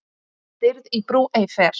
Stirð í brú ei fer.